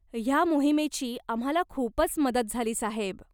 ह्या मोहिमेची आम्हाला खूपच मदत झाली साहेब.